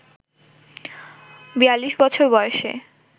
৪২ বছর বয়সে